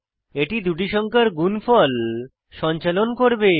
এটি দুটি সংখ্যার গুণফল সঞ্চালন করবে